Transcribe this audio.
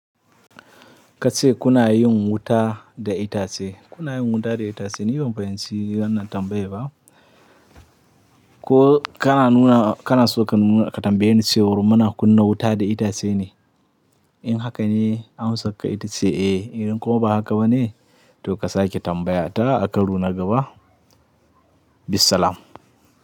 Ka ce kuna yin wuta da itace. Kuna yin wuta da itace? Ni ban fahimci wannan tambayar ba. Ko kana nuna, kana so ka nuna ka tambaye ni cewa muna kunna wuta da itace ne? In haka ne, amsar ka ita ce eh, idan kuma ba haka ba ne, to ka sake tambaya ta a ka karo na gaba. Bissalam.